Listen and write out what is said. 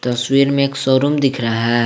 तस्वीर में एक शोरूम दिख रहा है।